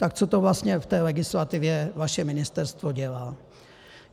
Tak co to vlastně v té legislativě vaše ministerstvo dělá?